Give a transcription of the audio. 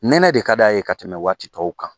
Nɛnɛ de ka d'a ye ka tɛmɛ waati tɔw kan